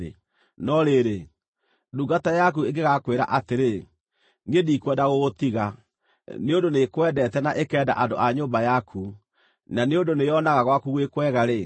No rĩrĩ, ndungata yaku ĩngĩgakwĩra atĩrĩ, “Niĩ ndikwenda gũgũtiga,” nĩ ũndũ nĩĩkwendete na ĩkenda andũ a nyũmba yaku, na nĩ ũndũ nĩyonaga gwaku gwĩ kwega-rĩ,